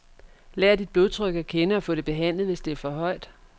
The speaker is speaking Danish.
Lær dit blodtryk at kende og få det behandlet, hvis det er for højt.